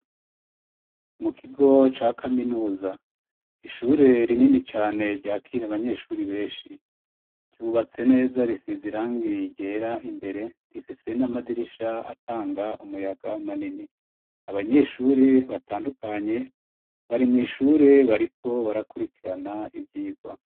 Mu kigo ca kaminuza, ishure rinini cane ryakira abanyeshuri benshi, ryubatse neza risize irangi ryera imbere, rifise n'amadirisha atanga umuyaga manini, abanyeshuri batandukanye bari mw'ishure bariko barakurikirana ivyigwa.